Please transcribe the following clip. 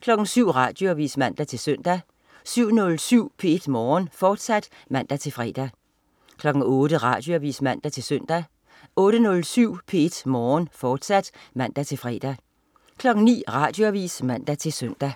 07.00 Radioavis (man-søn) 07.07 P1 Morgen, fortsat (man-fre) 08.00 Radioavis (man-søn) 08.07 P1 Morgen, fortsat (man-fre) 09.00 Radioavis (man-søn)